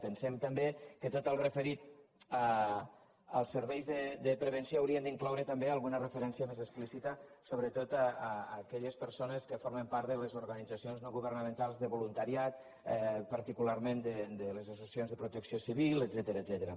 pensem també que tot allò referit als serveis de pre·venció hauria d’incloure també alguna referència més explícita sobretot a aquelles persones que formen part de les organitzacions no governamentals de volunta·riat particularment de les associacions de protecció civil etcètera